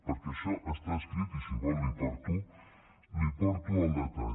perquè això està escrit i si vol li porto el detall